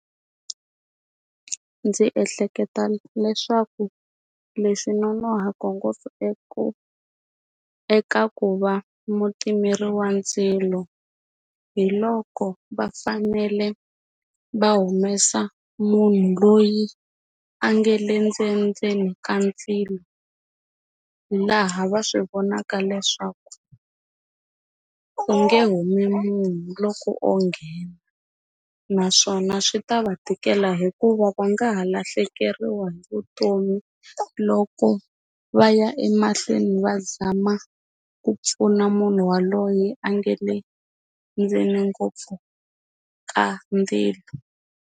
Ndzi ehleketa leswaku leswi nonohaka ngopfu eku eka ku va mutimeri wa ndzilo hi loko va fanele va humesa munhu loyi a nga le ndzenindzeni ka ndzilo laha va swi vonaka leswaku u nge humi munhu loko o nghena naswona swi ta va tikela hikuva va nga ha lahlekeriwa hi vutomi loko va ya emahlweni va zama ku pfuna munhu yaloye a nga le ndzeni ngopfu ka ndzilo.